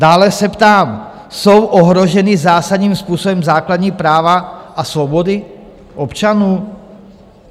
Dále se ptám: Jsou ohrožena zásadním způsobem základní práva a svobody občanů?